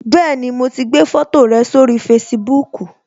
Bẹẹni, mo ti gbé foto rẹ sórí Facebook